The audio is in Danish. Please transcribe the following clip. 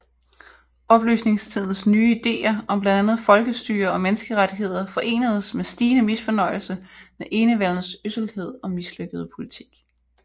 Oplysningstidens nye idéer om blandt andet folkestyre og menneskerettigheder forenedes med stigende misfornøjelse med enevældens ødselhed og mislykkede politik